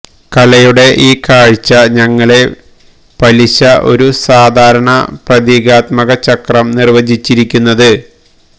കലയുടെ ഈ കാഴ്ച ഞങ്ങളെ പലിശ ഒരു സാധാരണ പ്രതീകാത്മക ചക്രം നിർവചിച്ചിരിക്കുന്നത്